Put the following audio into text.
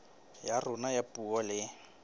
ya rona ya puo le